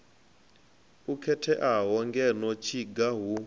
o khetheaho ngeno tshiga hu